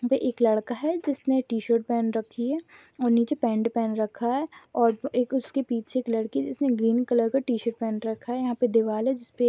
यहां पे एक लड़का है जिसने टी-शर्ट पहन रखी है और नीचे पैंट पहन रखा है और एक उसके पीछे एक लड़की है जिसने ग्रीन कलर की टी-शर्ट पहन रखा है यहां पे एक दीवाल है जिस पे --